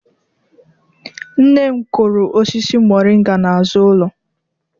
Nne m kụrụ osisi moringa n'azu ulo.